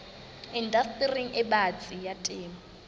indastering e batsi ya temo